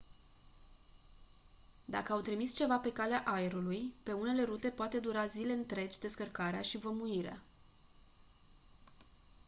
dacă au trimis ceva pe calea aerului pe unele rute poate dura zile întregi descărcarea și vămuirea